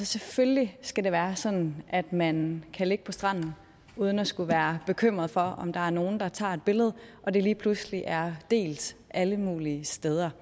selvfølgelig skal det være sådan at man kan ligge på stranden uden at skulle være bekymret for om der er nogen der tager et billede og det lige pludselig er delt alle mulige steder